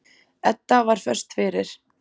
Edda var föst fyrir.